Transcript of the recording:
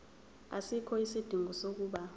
asikho isidingo sokuba